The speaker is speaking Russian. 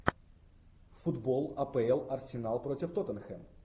футбол апл арсенал против тоттенхэм